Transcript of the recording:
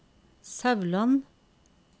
Sauland